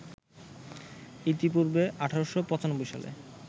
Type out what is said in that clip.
ইতিপূর্বে ১৮৯৫ সালে